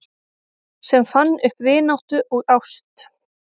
Sem fann upp vináttu og ást